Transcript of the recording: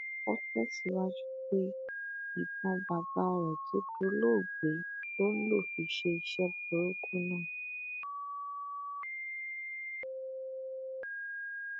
ó tẹsíwájú pé ìbọn bàbá rẹ tó dolóògbé ló ń lọ fi ṣe iṣẹ burúkú náà